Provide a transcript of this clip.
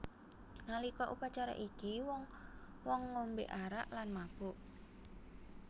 Nalika upacara iki wong wong ngombe arak lan mabuk